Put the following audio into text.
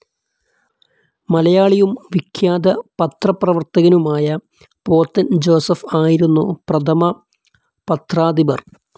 മലയാളിയും വിഖ്യാത പത്രപ്രവർത്തകനുമായ പോത്തൻ ജോസഫ് ആയിരുന്നു പ്രഥമ പത്രാധിപർ.